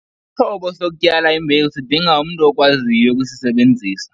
Isixhobo sokutyala imbewu sidinga umntu okwaziyo ukusisebenzisa.